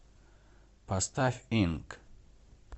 поставь инк